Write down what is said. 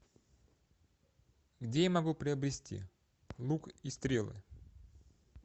где я могу приобрести лук и стрелы